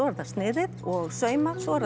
er það sniðið og saumað svo er